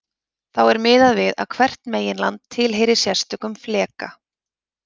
Þá er miðað við að hvert meginland tilheyri sérstökum fleka.